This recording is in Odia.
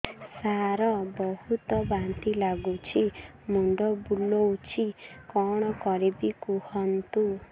ସାର ବହୁତ ବାନ୍ତି ଲାଗୁଛି ମୁଣ୍ଡ ବୁଲୋଉଛି କଣ କରିବି କୁହନ୍ତୁ